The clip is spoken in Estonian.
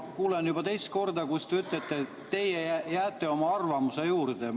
Ma kuulen juba teist korda teid ütlevat, et teie jääte oma arvamuse juurde.